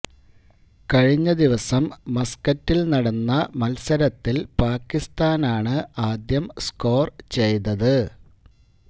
കഴിഞ്ഞദിവസം മസ്കറ്റില് നടന്ന മത്സരത്തില് പാക്കിസ്ഥാനാണ് ആദ്യം സ്കോര് ചെയ്തത്